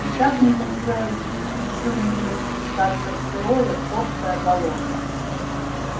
и так не хотелось ещё ниже спускаться в сырое топкое болото